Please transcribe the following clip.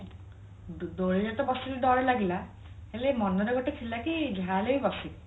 ଦୋଳିରେ ତ ବସିଲି ଡର ଲାଗିଲା ହେଲେ ମନରେ ଗୋଟେ ଥିଲା କି ଯାହା ହେଲେ ବି ବସିବି